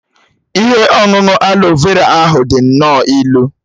Ihe ọṅụṅụ aloe vera ahụ dị nnọọ ilu.